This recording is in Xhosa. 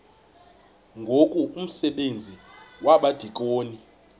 ngoku umsebenzi wabadikoni